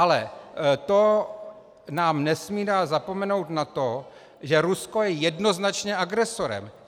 Ale to nám nesmí dát zapomenout na to, že Rusko je jednoznačně agresorem.